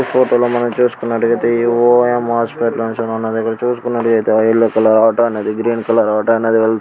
ఈ ఫోటో లో మనం చూసుకున్నట్టైతే ఓ ఎం హాస్పిటల్ ఇప్పుడు చూసుకున్నట్టైతే ఆ ఎల్లో కలర్ ఆటో అనెది గ్రీన్ కలర్ ఆటో అనెది వేల్ --